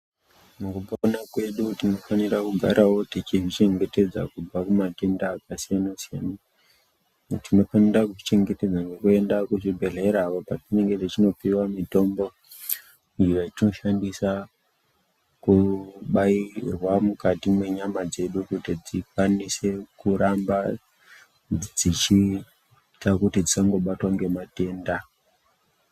Mukupona kwedu tinofanira kugarawo tichizvichengetedza kubva kumatenda akasiyana-siyana. Tinofanira kuzvichengetedza nekuenda kuchibhedhlera uko kwatinenge tichinopuwa mitombo iyo yatinoshandisa kubairwa mukati mwenyama dzedu kuti dzikwanise kuramba dzichiita kuti dzisangobatwa ngematenda.